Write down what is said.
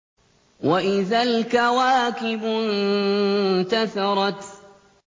وَإِذَا الْكَوَاكِبُ انتَثَرَتْ